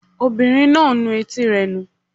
Ọmọbìnrin náà ń nu etí rẹ̀ nù